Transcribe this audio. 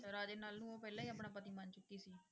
ਰਾਜੇ ਨਲ ਨੂੰ ਉਹ ਪਹਿਲਾਂ ਹੀ ਆਪਣਾ ਪਤੀ ਮੰਨ ਚੁੱਕੀ ਸੀ।